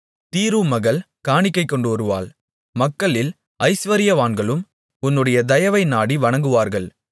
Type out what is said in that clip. தீரு மகள் காணிக்கை கொண்டுவருவாள் மக்களில் ஜசுவரியவான்களும் உன்னுடைய தயவை நாடி வணங்குவார்கள்